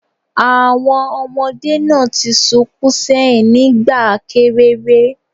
Àwọn ọmọdé náà ti sunkún ṣẹ́yìn nígbà kéreré